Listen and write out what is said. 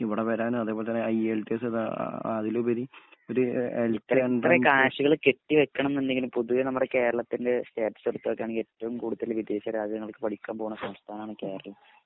ഇവിടെ വരാന് അതുപോലെ തന്നെ ഐഎൽ ടി എസ് എഴുതാ ആ ആ അതിലുപരി ഒര് എ എ എൽ എൻട്രൻസ്